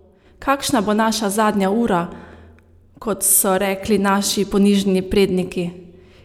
Kakšna bo naša zadnja ura, kot so rekli naši ponižni predniki?